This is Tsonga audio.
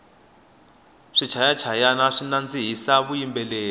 swichaya chayani swi nandzihisa vuyimbeleri